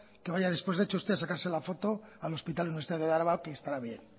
que vaya de hecho usted después a sacarse la foto al hospital universitario de araba que estará bien